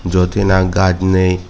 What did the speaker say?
jot he nang gaaj nei.